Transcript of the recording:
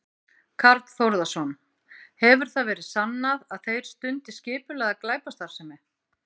Karl Þórðarson: Hefur það verið sannað að þeir stundi skipulagða glæpastarfsemi?